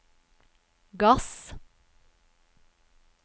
gass